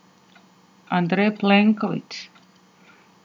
Andrej Plenković.